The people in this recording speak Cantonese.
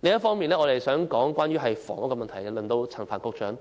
另一方面，我想談談房屋問題，現在輪到陳帆局長。